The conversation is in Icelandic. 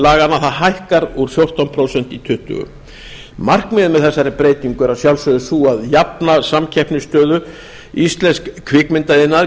laganna hækkar úr fjórtán prósent í tuttugu prósent markmiðið með þessari breytingu er að sjálfsögðu sú að jafna samkeppnisstöðu íslensks kvikmyndaiðnaðar